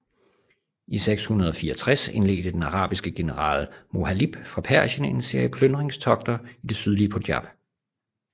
I 664 indledte den arabiske general Mohalib fra Persien en serie plyndringstogter i det sydlige Punjab